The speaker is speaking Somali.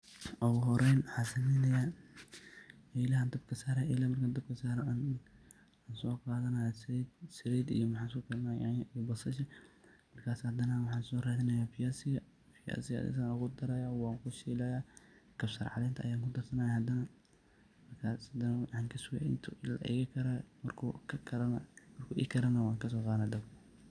Ogu horeyn maxa isleyahay elahaa dabka saraya ,elehaa marka dabka saro aan soqadanaya saliid .saliid iyo maxa isku karinaya yanya iyo baasasha ,markas hadane waxan soradinaya viazi ga .viazi ga aya san ogudaraya wan kushilaya ,kapsar caleenta aya kudarsanaya hadane markas hadane waxan kasugay intu iga karo marku ikaro neh wan kaso qadana dabka.